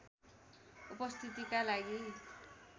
उपस्थितिका लागि